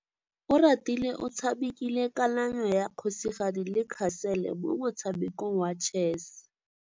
Oratile o tshamekile kananyô ya kgosigadi le khasêlê mo motshamekong wa chess.